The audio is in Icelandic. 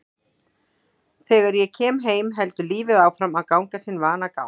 Þegar ég kem heim heldur lífið áfram að ganga sinn vanagang.